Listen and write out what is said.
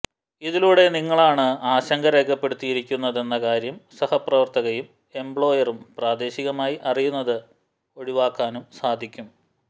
ഇതിലൂടെ നിങ്ങളാണ് ആശങ്ക രേഖപ്പെടുത്തിയിരിക്കുന്നതെന്ന കാര്യം സഹപ്രവര്ത്തകയും എംപ്ലോയറും പ്രാദേശികമായി അറിയുന്നത് ഒഴിവാക്കാനും സാധിക്കും